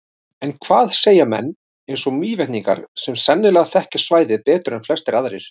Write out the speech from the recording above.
En hvað segja heimamenn, eins og Mývetningar, sem sennilega þekkja svæðið betur en flestir aðrir?